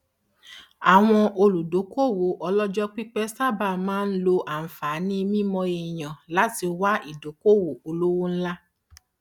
àwọn olùdókòwò olojopipe sáábà máa ń lo anfààní mímọ èyàn láti wá ìdókòwò olówó ńlá